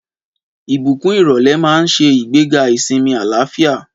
Ìbùkún ìrọ̀lẹ́ máa ń ṣe ìgbéga ìsinmi àlàáfíà.